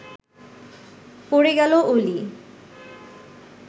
পড়ে গেল অলি